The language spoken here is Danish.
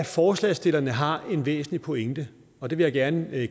forslagsstillerne har en væsentlig pointe og det vil jeg gerne